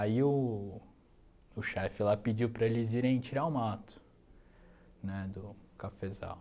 Aí o o chefe lá pediu para eles irem tirar o mato né do cafezal.